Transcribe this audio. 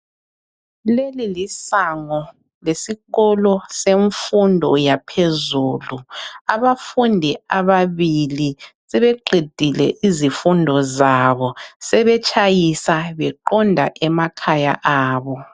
Leli lisango lesikolo semfundo yaphezulu, abafundi ababili sebeqedile izifundo zabo sebetshayisa beqonda emakhaya abo